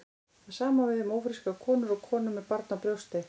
Það sama á við um ófrískar konur og konur með barn á brjósti.